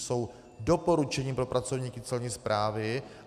Jsou doporučením pro pracovníky Celní správy.